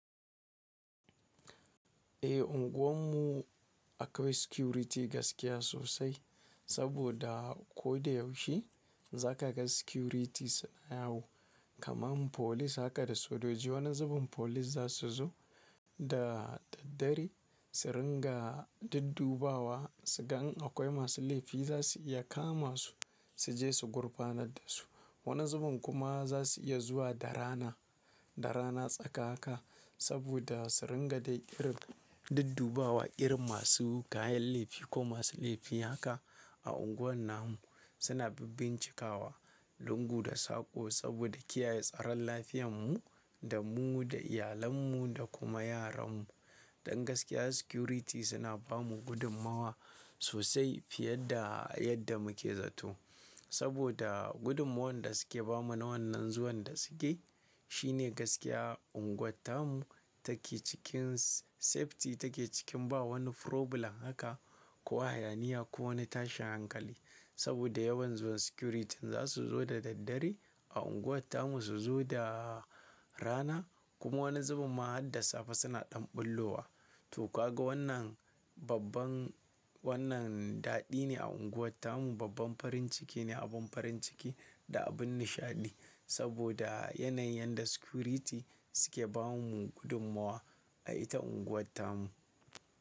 Eh unguwarmu akwai security gaskiya sosai saboda ko da yaushe za ka ga security suna yawo. Kaman police haka da sojoji wani zuben police za su zo da daddare su ringa duddubawa su ga in akwai masu laifi za su iya kama su, su je su gurfanar da su. Wani zuben kuma za su iya zuwa da rana, da rana tsaka haka saboda su ringa dai irin duddubawa irin masu kayan laifi ko masu laifi haka a unguwar namu. Suna bibbincikawa lungu da saƙo saboda kiyaye tsaron lafiyarmu da mu da iyalarmu da kuma yaranmu. Dan gaskiya security suna bamu gudummawa sosai fiye da yadda muke zato. Saboda gudummawar da suke bamu na wannan zuwan da suke, shine gaskiya unguwar tamu take cikin safety take cikin ba wani problem haka ko hayaniya ko wani tashin hankali. Saboda yawan zuwan security za su zo da daddare a unguwar tamu su zo da rana kuma wani zuben ma har da safe suna ɗan ɓullo wa. To kwaga wannan babban wannan daɗi ne a unguwar tamu. Babban farin ciki ne, abin farin ciki da abin nishaɗi saboda yanayin da security suke ba mu gudummawa a ita unguwar tamu.